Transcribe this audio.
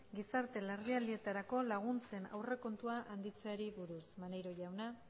gizarte larrialdietarako laguntzen aurrekontua handitzeari buruz maneiro jauna